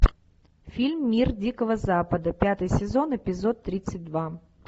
фильм мир дикого запада пятый сезон эпизод тридцать два